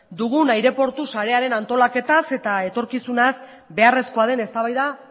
dugun aireportu sarearen antolaketaz eta etorkizunaz beharrezkoa den eztabaida